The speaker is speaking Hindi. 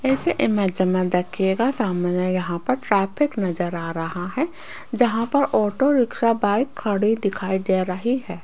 इस इमेज में देखिएगा सामने यहां पर ट्रैफिक नजर आ रहा है जहां पर ऑटो रिक्शा बाइक खड़ी दिखाई दे रही है।